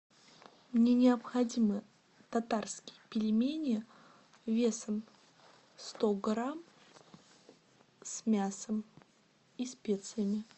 мне необходимо татарские пельмени весом сто грамм с мясом и специями